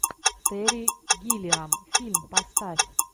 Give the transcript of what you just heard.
терри гиллиам фильм поставь